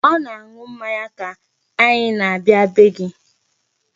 Ọ na-aṅụ mmanya ka anyi na-abịa bee gị.